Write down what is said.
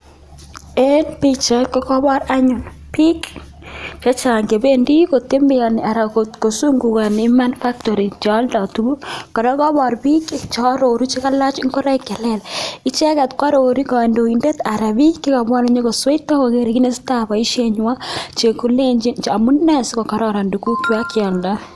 Eng pichait ko kobor anyun bik che chang che bendi kotembeoni anan kosungukoni iman factory chon oldoi tukuk, kora kobor bik che kelach ngoroik che lelach icheket ko orori kondoindet anan bik che kobwonei kosweitoi kokere ole tesetai boisienywa che kilenjech amu nee si kokororon tukuk kwak cheoldoi.